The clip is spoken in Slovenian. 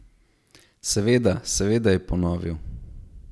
Seveda, seveda, je ponovil.